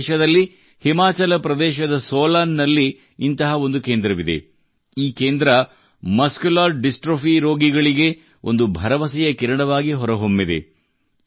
ನಮ್ಮ ದೇಶದಲ್ಲಿ ಹಿಮಾಚಲ ಪ್ರದೇಶದ ಸೋಲನ್ ನಲ್ಲಿ ಇಂತಹ ಒಂದು ಕೇಂದ್ರವಿದೆ ಈ ಕೇಂದ್ರವು ಮಸ್ಕ್ಯುಲರ್ ಡಿಸ್ಟ್ರೋಫಿ ರೋಗಿಗಳಿಗೆ ಒಂದು ಭರವಸೆಯ ಕಿರಣವಾಗಿ ಹೊರಹೊಮ್ಮಿದೆ